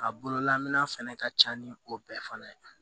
A bololamɛn fɛnɛ ka ca ni o bɛɛ fana ye